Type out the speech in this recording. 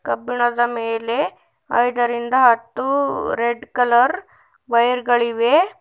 ಕಬ್ಬಿಣದ ಮೇಲೆ ಐದರಿಂದ ಹತ್ತು ರೆಡ್ ಕಲರ್ ವೈಯರ್ ಗಳಿವೆ.